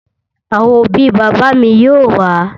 Àwọn òbí bàbá mi yóò wá